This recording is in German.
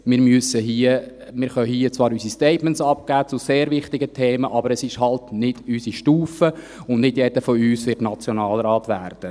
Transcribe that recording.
Wir können hier zwar unsere Statements zu sehr wichtigen Themen abgeben, aber es ist halt nicht unsere Stufe, und nicht jeder von uns wird Nationalrat werden.